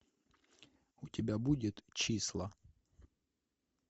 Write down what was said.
у тебя будет числа